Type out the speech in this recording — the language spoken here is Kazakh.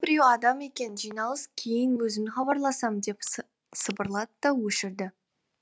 біреуі адам екен жиналыс кейін өзім хабарласам деп сыбырлады да өшірді